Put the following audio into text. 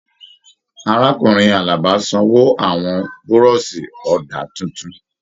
Arákùnrin Àlàbá sanwó àwọn burọ̀sì ọ̀dà títún.